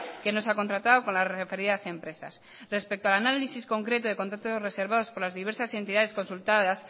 que no se ha contratado con las referidas empresas respecto al análisis concreto de contratos reservados por las diversas entidades consultadas